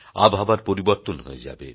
আবহাওয়ার পরিবর্তন হয়ে যাবে